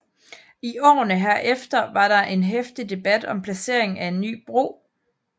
I årene herefter var der en heftig debat om placeringen af en ny bro